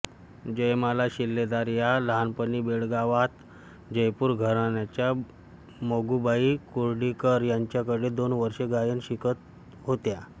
जयमाला शिलेदार या लहानपणी बेळगावात जयपूर घराण्याच्या मोगूबाई कुर्डीकर यांच्याकडे दोन वर्षं गायन शिकत होत्या